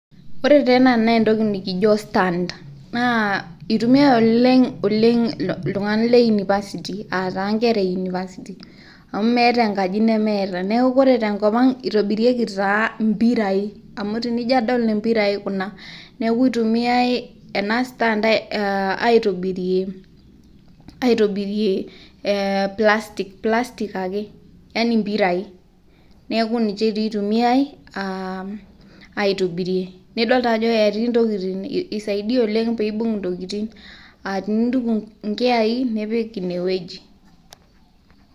Ore taa ena naa entoki nikijo stand naa eitumia oleng, oleng iltung'anak le university aa taa inkera e university. Amu meeta enkaji nemeeta. Neaku ore tenkop ang eitobirieki taa impirai amu tenijo adol impirai kuna. Neaku eitumiai ena stand ai tobirie plastic ake yaani impirai. Neaku ninche taa eitumiae aa aitobirie. Nidol taa ajo etii intokiting eisaidia oleng pee eibung intokiting, aa tenintuku inkiai nipik ine weji.